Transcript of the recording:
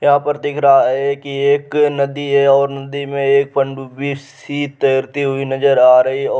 यहां पर दिख रहा है कि एक नदी है और नदी मे एक पंडुपी सी तैरती हुई नजर आ रही है और --